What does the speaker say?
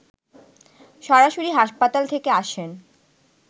সরাসরি হাসপাতাল থেকে আসেন